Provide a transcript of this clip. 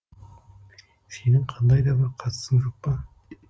сенің қандай да бір қатысың жоқ па